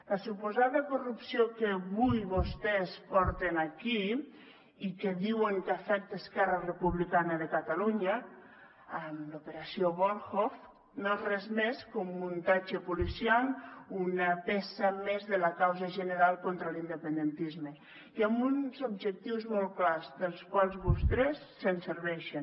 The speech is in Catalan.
la suposada corrupció que avui vostès porten aquí i que diuen que afecta esquerra republicana de catalunya l’operació volhov no és res més que un muntatge policial una peça més de la causa general contra l’independentisme i amb uns objectius molt clars dels quals vostès se serveixen